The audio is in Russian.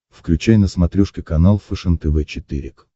включай на смотрешке канал фэшен тв четыре к